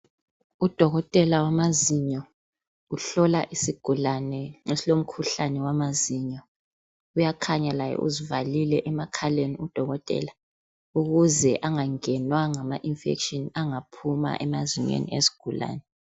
Udokotela wamazinyo uhlola isigulane esilomkhuhlane wamazinyo. Uyakhanya laye uzivalile emakhaleni udokotela, ukuze angangena ngama 'infection' angaphuma emoyeni wesigulane.